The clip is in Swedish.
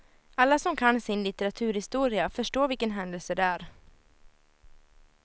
Alla som kan sin litteraturhistoria förstår vilken händelse det är.